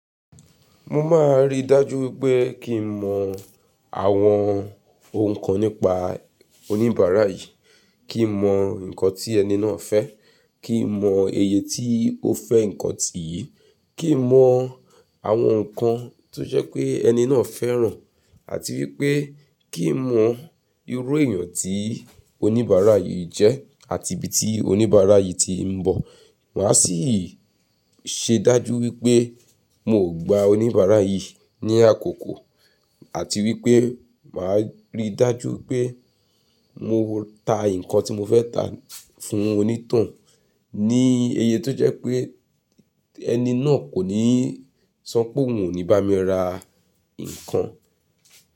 Mo máa ri dájú pé kí n mọ àwọn ohun kan nípa oníbàárà yìí, kí n mọ nǹkan ti ẹni náà fẹ́, kí n mọ iye tí o fẹ́ nǹkan tì yìí, kí n mọ àwọn nǹkan tó jẹ́ pé ẹni náà fẹ́ràn, àti wí pé kí n mọ irú èèyàn tí oníbàárà yìí jẹ́ àti ibi tí oníbàárà yìí ti n bọ̀. Màá sì ṣe dájú wipé mò gba oníbàárà yìí ní àkókò, àti wí pé màá ri dájú pé mo ta nǹkan tí mo fẹ́ ta fún onítoun ní iye tó jẹ́ pé ẹni náà kò ní sope óun o ní bá mi ra nǹkan.